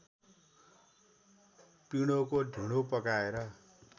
पिडोको ढिँडो पकाएर